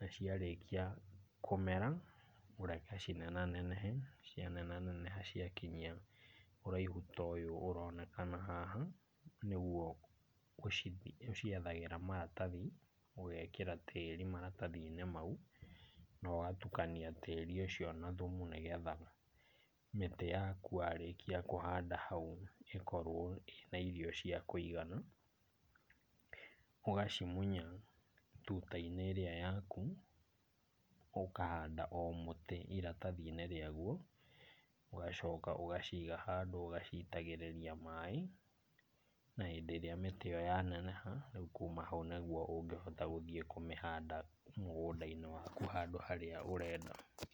na ciarĩkia kũmera, ũreke cinenanenehe, na cia neneha ciakinyia ũraihu ta ũyũ ũronekana haha, nĩguo ũciethagĩra maratathi, ũgekĩra tĩĩri maratathi-inĩ mau, na ũgatukania tĩĩri ũcio na thumu nĩ getha mĩtĩ yaku warĩkia kũhanda hau ĩkorwo ĩ na iro cia kũigana. Ũgacimunya tuta-inĩ ĩrĩa yaku, ũkahanda o mũtĩ iratathi-inĩ rĩaguo, ũgacoka ũgaciga handũ ũgaciitagĩrĩria maĩ. Na hĩndĩ ĩrĩa mĩtĩ ĩyo yaneneha, rĩu kuma hau nĩguo ũngĩhota gũthiĩ kũmĩhanda mũgũnda-inĩ waku handũ harĩa ũrenda.